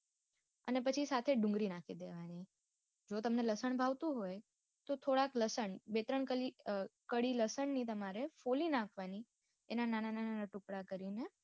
અને પછી સાથે ડુંગળી નાખી દેવાણીઓ અને તમને લસણ ભાવતું હોય તો થોડાક લસણ બે ત્રણ કલી અ કડી લસણ ની તમારે ફોલી નાખહવાની એના નાના નાના નાના ટુકડા કરીને